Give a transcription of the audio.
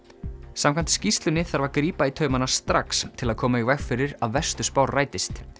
samkvæmt skýrslunni þarf grípa þarf í taumana strax til að koma í veg fyrir að verstu spár rætist